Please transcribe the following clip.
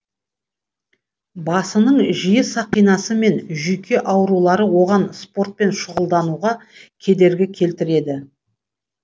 басының жиі сақинасы мен жүйке аурулары оған спортпен шұғылдануға кедергі келтіреді